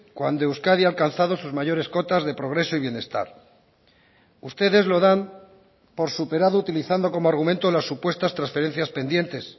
cuando euskadi ha alcanzado sus mayores cotas de progreso y bienestar ustedes lo dan por superado utilizando como argumento las supuestas transferencias pendientes